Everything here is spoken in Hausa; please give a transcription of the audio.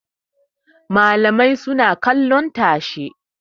Malamai suna kallon tashe.